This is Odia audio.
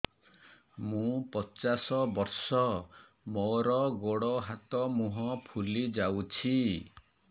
ମୁ ପଚାଶ ବର୍ଷ ମୋର ଗୋଡ ହାତ ମୁହଁ ଫୁଲି ଯାଉଛି